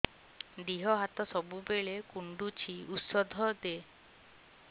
ଦିହ ହାତ ସବୁବେଳେ କୁଣ୍ଡୁଚି ଉଷ୍ଧ ଦେ